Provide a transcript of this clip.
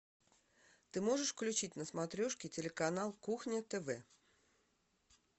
ты можешь включить на смотрешке телеканал кухня тв